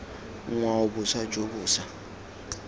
ngwao boswa jo bo sa